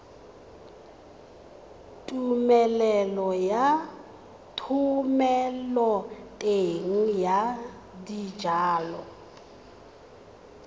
tumelelo ya thomeloteng ya dijalo